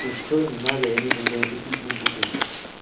ты что не надо я никогда это пить не буду нахуй